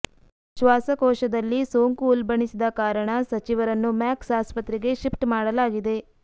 ಶ್ವಾಸಕೋಶದಲ್ಲಿ ಸೋಂಕು ಉಲ್ಪಣಿಸಿದ ಕಾರಣ ಸಚಿವರನ್ನು ಮ್ಯಾಕ್ಸ್ ಆಸ್ಪತ್ರೆಗೆ ಶಿಫ್ಟ್ ಮಾಡಲಾಗಿದೆ